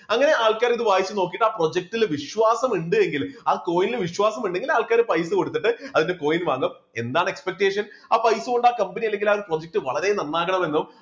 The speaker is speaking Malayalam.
അങ്ങനെ ആൾക്കാർ ഇത് വായിച്ചു നോക്കിയിട്ട് ആ project ല് വിശ്വാസമുണ്ട് എങ്കില് ആ coin ല് വിശ്വാസമുണ്ടെങ്കിൽ ആൾക്കാർ പൈസ കൊടുത്തിട്ട് അതിൻറെ coin വാങ്ങും എന്താണ് expectation ആ പൈസ കൊണ്ട് ആ company അല്ലെങ്കിൽ ആ ഒരു project വളരെ നന്നാകണമെന്നും